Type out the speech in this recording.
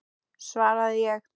svaraði ég.